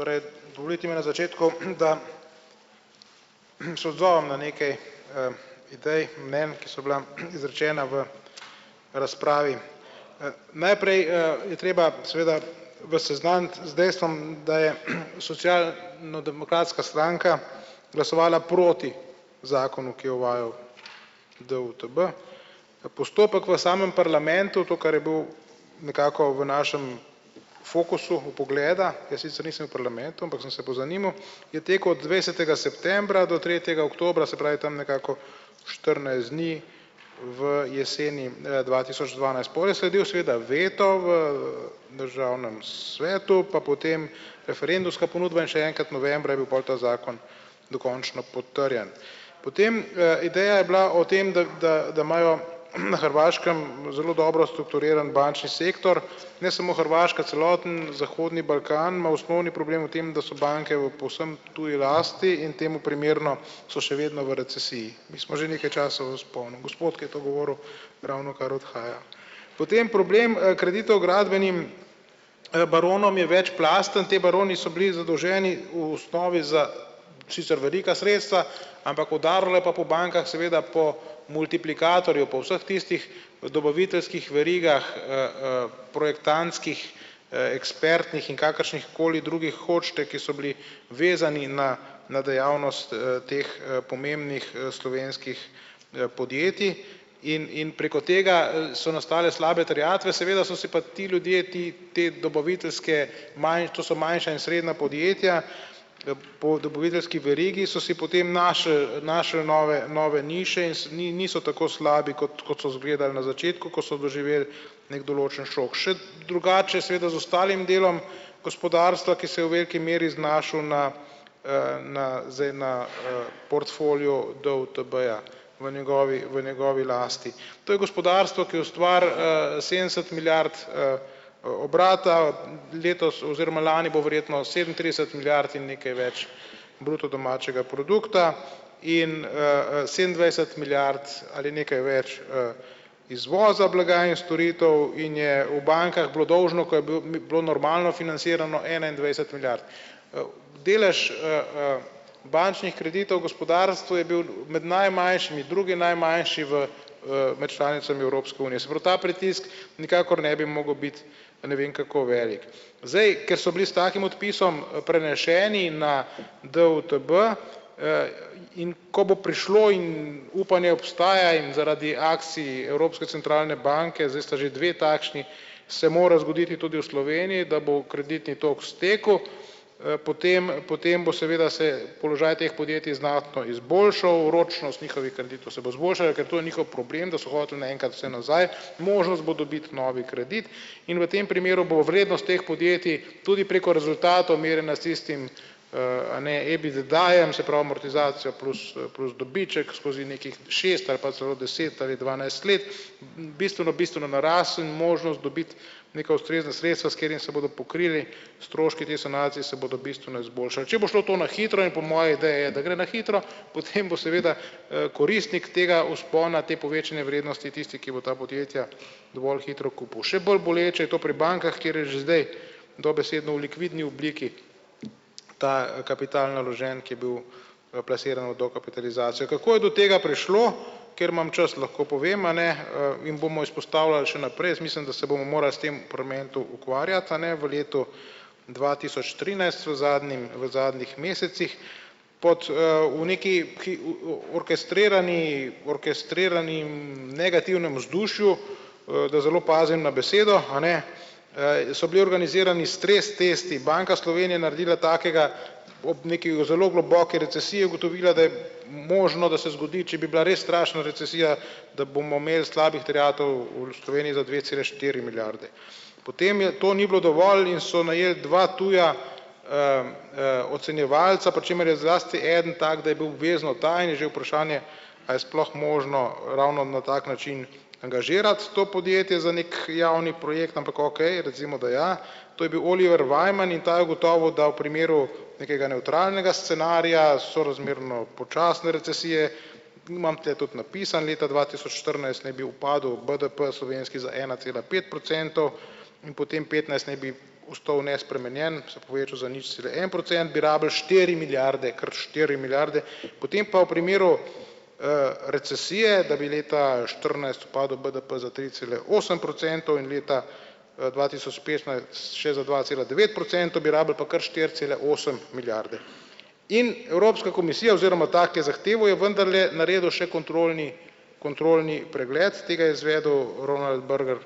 Torej, dovolite mi na začetku, da se odzovem na nekaj, idej, mnenj, ki so bila izrečena v razpravi. Najprej, je treba seveda vas seznaniti z dejstvom, da je social no demokratska stranka glasovala proti zakonu, ki je uvajal DUTB. Postopek v samem parlamentu, to, kar je bil nekako v našem fokusu vpogleda, jaz sicer nisem v parlamentu, ampak sem se pozanimal, je tako od dvajsetega septembra do tretjega oktobra, se pravi, tam nekako štirinajst dni v jeseni, dva tisoč dvanajst. Pol je sledil seveda veto v državnem svetu pa potem referendumska pobuda in še enkrat novembra je bil pol ta zakon dokončno potrjen. Potem, ideja je bila o tem, da da da imajo na Hrvaškem zelo dobro strukturiran bančni sektor, ne samo Hrvaška, celoten zahodni Balkan ima osnovni problem v tem, da so banke v povsem tuji lasti in temu primerno so še vedno v recesiji. Mi smo že nekaj časa v vzponu. Gospod, ki je to govoril, ravnokar odhaja. Potem problem, kredita v gradbenem, baronom je večplasten. Ti baroni so bili zadolženi v osnovi za sicer velika sredstva, ampak udarilo je pa po bankah, seveda po multiplikatorju po vseh tistih dobaviteljskih verigah, projektantskih, ekspertnih in kakršnihkoli drugih hočete, ki so bili vezani na na dejavnost, teh, pomembnih, slovenskih, podjetij in in preko tega, so nastale slabe terjatve, seveda so si pa ti ljudje ti te dobaviteljske to so manjša in srednja podjetja, po dobaviteljski verigi so si potem na naše, naše, nove nove nikakšne in so niso tako slabe, kot kot izgledalo na začetku, ko so doživeli neki določen šok. Še drugače je seveda z ostalim delom gospodarstva, ki se je v veliki meri znašel na, na zdaj na, portfoliu DUTB-ja v njegovi v njegovi lasti. To je gospodarstvo, ki ustvari, sedemdeset milijard, obrata letos oziroma lani bo verjetno sedemintrideset milijard in nekaj več bruto domačega produkta in, sedemindvajset milijard ali nekaj več, izvoza blaga in storitev in je v bankah bilo dolžno, ko je bil bilo normalno financirano enaindvajset milijard. Delež, bančnih kreditov gospodarstvu je bil med najmanjšimi, drugi najmanjši v, med članicami Evropske unije. Se pravi, ta pritisk nikakor ne bi mogel biti ne vem kako velik. Zdaj, ker so bili s takim odpisom prenešeni na DUTB, in ko bo prišlo in upanje obstaja in zaradi akcij Evropske centralne banke, zdaj sta že dve takšni, se mora zgoditi tudi v Sloveniji, da bo kreditni tok stekel, potem potem bo seveda se položaj teh podjetij znatno izboljšal, ročnost njihovih kreditov se bo izboljšala, ker to je njihov problem, da so hoteli naenkrat vse nazaj, možnost bo dobiti novi kredit in v tem primeru bo vrednost teh podjetij tudi preko rezultatov merjena s tistim, a ne, EBITDA-jem, se pravi, amortizacija plus, plus dobiček, skozi nekih šest ali pa celo deset ali dvanajst let bistveno bistveno narasel in možnost dobiti neka ustrezna sredstva, s katerimi se bodo pokrili stroški te sanacije se bodo bistveno izboljšali. Če bo šlo to na hitro, in po moji ideji je, da gre na hitro, potem bo seveda, koristnik tega vzpona te povečane vrednosti tisti, ki bo ta podjetja dovolj hitro kupil. Še bolj boleče je to pri bankah, kjer je že zdaj dobesedno v likvidni obliki ta kapital naložen, ki je bil plasiran v dokapitalizacijo. Kako je do tega prišlo? Ker imam čas, lahko povem, a ne, in bomo izpostavljali še naprej, jaz mislim, da se bomo morali s tem parlamentu ukvarjati, a ne, v letu dva tisoč trinajst, v zadnjem v zadnjih mesecih pod, oni ki ki, orkestrirani orkestriranem negativnem vzdušju, da zelo pozimi na besedo, a ne, so bili organizirani stres testi. Banka Slovenije je naredila takega, ob neki zelo globoki recesiji je ugotovila, da je možno, da se zgodi, če bi bila res strašna recesija, da bomo imeli slabih terjatev v Sloveniji za dve cele štiri milijarde. Potem je to ni bilo dovolj in so najeli dva tuja, ocenjevalca, pri čemer je zlasti eden tak, da je bil obvezno ta in je že vprašanje, a je sploh možno ravno na tak način angažirati to podjetje za neki javni projekt, ampak okej recimo, da ja. To je bil Oliver Wyman in ta je ugotovil, da v primeru nekega nevtralnega scenarija sorazmerno počasne recesije, imam tule tudi napisano leta dva tisoč štirinajst, naj bi upadel BDP slovenski za ena cela pet procentov in potem petnajst naj bi ostal nespremenjen, se povečal za nič cele en procent, bi rabili štiri milijarde krat štiri milijarde. Potem pa v primeru, recesije, da bi leta štirinajst padel BDP za tri cele osem procentov in leta, dva tisoč petnajst še za dva cela devet procentov, bi rabili pa kar štiri cele osem milijarde. In Evropska komisija oziroma ta, ki je zahteval, je vendarle naredil še kontrolni kontrolni pregled, tega je izvedel Roland Berger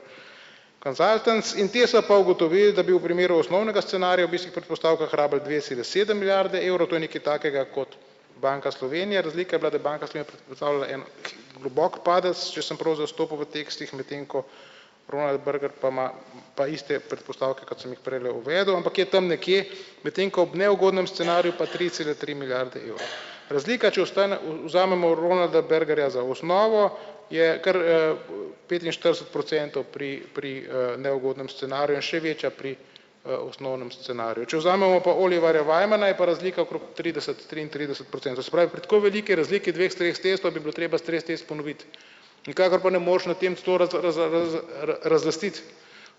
Consultants, in potem so pa ugotovili, da bi v primeru osnovnega scenarija ob istih predpostavkah rabili dve cele sedem milijard evrov, to je nekaj takega kot Banka Slovenije. Razlika je bila, da Banka Slovenije predstavlja en globok padec, če sem prav zastopil v tekstih, medtem ko Roland Berger pa ima pa iste predpostavke, kot sem jih prejle uvedel, ampak je tam nekje, medtem ko ob neugodnem scenariju pa tri cele tri milijarde evrov. Razlika, če ostane, vzamemo Rolanda Bergerja za osnovo, je kar, petinštirideset procentov pri pri, neugodnem scenariju in še večja pri, osnovnem scenariju. Če vzamemo pa Oliverja Wymana, je pa razlika okrog trideset, triintrideset procentov. Se pravi, pri tako veliki razliki dveh stres testov bi bilo treba stres test ponoviti. Nikakor pa ne moreš na tem razlastiti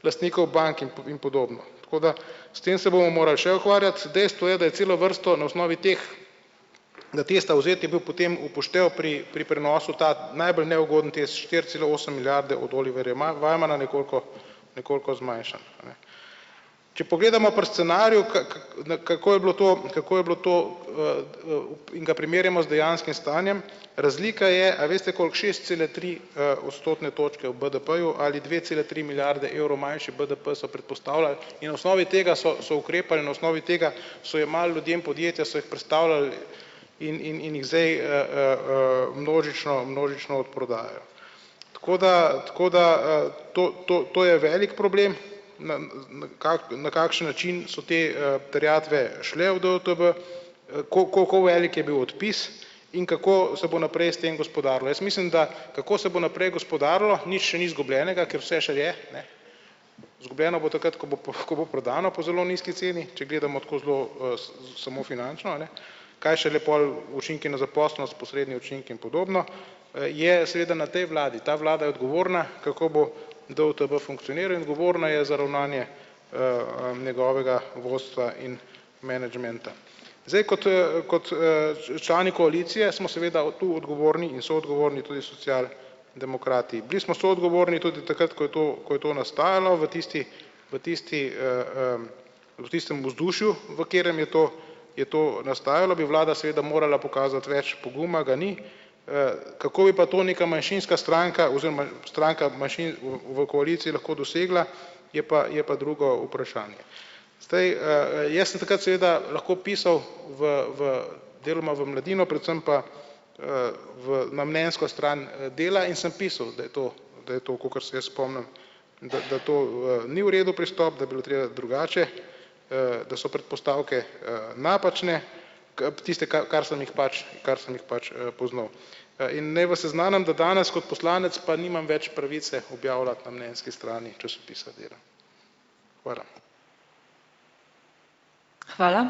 lastnikov bank in in podobno. Tako da s tem se bomo morali še ukvarjati, dejstvo je, da je celo vrsto na osnovi teh, na testa vzet je bil potem v poštev pri pri prenosu ta najbolj neugoden test štiri cele osem milijarde od Oliverja Wymana nekoliko nekoliko zmanjšan. Če pogledamo pri scenariju kaj na kako je bilo to, kako je bilo to, v in ga primerjamo z dejanskim stanjem, razlika je, a veste koliko, šest cele tri, odstotne točke v BDP-ju ali dve cele tri milijarde evrov manjši BDP so predpostavljali in na osnovi tega so so ukrepali, na osnovi tega so jemali ljudem podjetja, so jih prestavljali in in in jih zdaj, množično množično odprodajajo. Tako da, tako da, to to to je velik problem, na na kakšen način so te, terjatve šle v DUTB, kako velik je bil odpis in kako se bo naprej s tem gospodarilo. Jaz mislim, da kako se bo naprej gospodarilo, nič še ni izgubljenega, ker vse še je izgubljeno, bo takrat ko bo ko bo prodano po zelo nizki ceni, če gledamo tako zelo, samo finančno, a ne, kaj šele pol učinki na zaposlenost posredni učinki in podobno je seveda na tej vladi, ta vlada je odgovorna, kako bo DUTB funkcioniral in odgovorna je za ravnanje, njegovega vodstva in menedžmenta. Zdaj, kot, kot, člani koalicije smo seveda tu odgovorni in soodgovorni tudi social demokrati. Bili smo soodgovorni tudi takrat, ko je to ko je to nastajalo v tisti, v tisti, v tistem vzdušju, v katerem je to, je to nastajalo, bi vlada seveda morala pokazati več poguma, ga ni. Kako je pa to neka manjšinska stranka oziroma stranka manjšin v v koaliciji lahko dosegla, je pa je pa drugo vprašanje. Zdaj, jaz sem takrat seveda lahko pisal v v deloma v Mladino, predvsem pa, v na mnenjsko stran dela in sem pisal, da je to, da je to, kakor se jaz spomnim, da da to ni v redu pristop, da bi bilo treba drugače, da so predpostavke, napačne tiste, kar kar sem jih pač, kar sem jih pač, poznal. In naj vas seznanim, da danes kot poslanec pa nimam več pravice objavljati na mnenjski strani časopisa Dela. Hvala.